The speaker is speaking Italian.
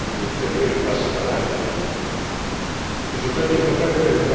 fissando anche un percorso possibile di ulteriori passi in avanti nel futuro.